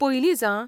पयलींच आं.